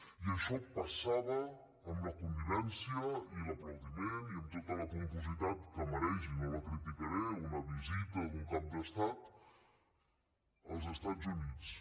i això passava amb la connivència i l’aplaudiment i amb tota la pompositat que mereix i no la criticaré una visita d’un cap d’estat als estats units